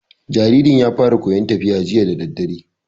Jaririn ya fara koyan tafiya jiya dadadare